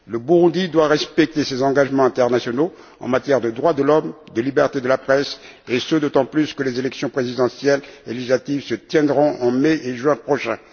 Le Burundi doit respecter ses engagements internationaux en matière de droits de l'homme et de liberté de la presse, et ce d'autant plus que les élections présidentielles et législatives se tiendront en mai et juin prochains.